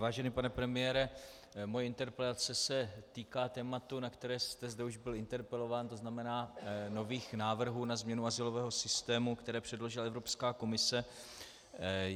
Vážený pane premiére, moje interpelace se týká tématu, na které jste zde už byl interpelován, to znamená nových návrhů na změnu azylového systému, které předložila Evropská komise.